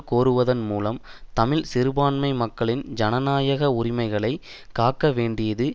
கோருவதன் மூலம் தமிழ் சிறுபான்மை மக்களின் ஜனநாயக உரிமைகளை காக்க வேண்டியது